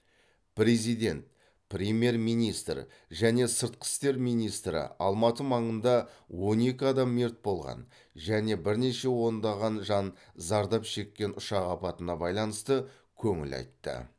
президент премьер министр және сыртқы істер министрі алматы маңында он екі адам мерт болған және бірнеше ондаған жан зардап шеккен ұшақ апатына байланысты көңіл айтты